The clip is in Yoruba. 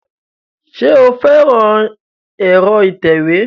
Ṣé o fẹ́ran ẹ̀rọ ìtẹ̀wé